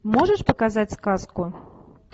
можешь показать сказку